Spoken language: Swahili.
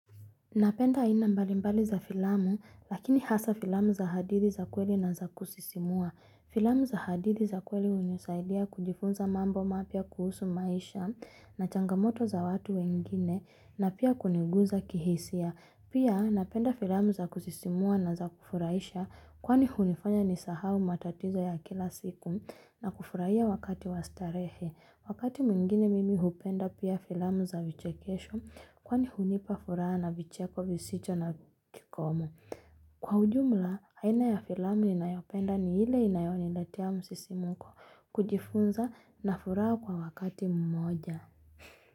Napenda aina mbalimbali za filamu, lakini hasa filamu za hadithi za kweli na za kusisimua. Filamu za hadithi za kweli hunisaidia kujifunza mambo mapya kuhusu maisha na changamoto za watu wengine na pia kuniguza kihisia. Pia napenda filamu za kusisimua na za kufurahisha kwani hunifanya nisahau matatizo ya kila siku na kufurahia wakati wastarehe. Wakati mwingine mimi hupenda pia filamu za vichekesho kwani hunipa furaha na vicheko visicho na kikomo. Kwa ujumla, aina ya filamu ninayopenda ni ile inayonilaetia msisimuko kujifunza na furaha kwa wakati mmoja.